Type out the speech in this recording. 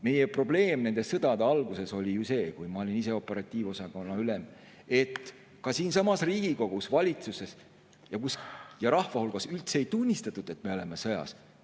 Meie probleem nende sõdade alguses oli see – ma olin ise siis operatiivosakonna ülem –, et ka siinsamas Riigikogus, valitsuses ja rahva hulgas üldse ei tunnistatud, et me oleme sõjas.